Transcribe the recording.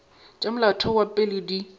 tša molaotheo wa pele di